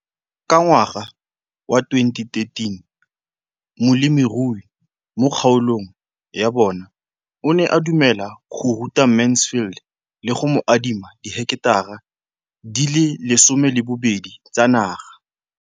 Ka ngwaga wa 2013, molemirui mo kgaolong ya bona o ne a dumela go ruta Mansfield le go mo adima di heketara di le 12 tsa naga.